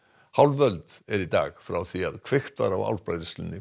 hálf öld er í dag frá því kveikt var á álbræðslunni